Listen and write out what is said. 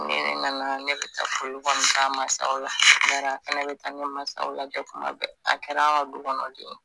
Ni ne nana ne bɛ taa foli kɔni k'a mansaw la bari a fana bɛ taa ne mansa lajɛ tuma bɛɛ a kɛra an ka dukɔnɔden ye